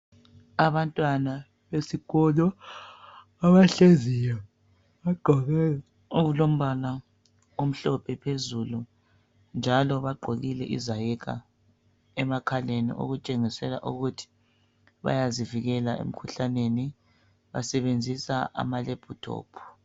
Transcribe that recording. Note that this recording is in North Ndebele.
Abantwana besikolo abahleziyo bagqkoke okulombala omhlophe phezulu njalo bagqokile izayeka emakhaleni okutshengisela ukuthi bayazivikela emkhuhlaneni. Basebenzisa ama laptop.